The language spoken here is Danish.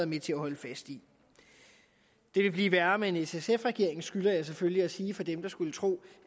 med til at holde fast i det vil blive værre med en s sf regering skylder jeg selvfølgelig at sige til dem der skulle tro